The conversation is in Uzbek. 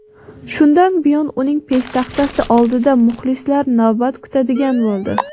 Shundan buyon uning peshtaxtasi oldida muxlislari navbat kutadigan bo‘ldi.